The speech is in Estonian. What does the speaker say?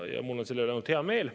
Ja mul on selle üle ainult hea meel.